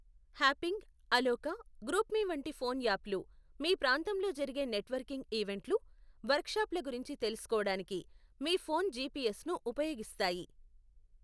హ్యాపింగ్, Aloqa, GroupMe వంటి phone యాప్లు మీ ప్రాంతంలో జరిగే నెట్వర్కింగ్ ఈవెంట్లు, వర్కుషాప్ల గురించి తెలుసుకోడానికి మీ ఫోన్ జిపిఎస్ను ఉపయోగిస్తాయి.